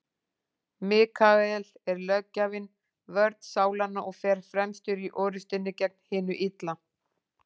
Mikael er löggjafinn, vörn sálanna, og fer fremstur í orrustunni gegn hinu illa.